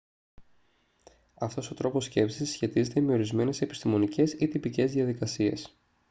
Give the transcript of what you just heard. αυτός ο τρόπος σκέψης συσχετίζεται με ορισμένες επιστημονικές ή τυπικές διαδικασίες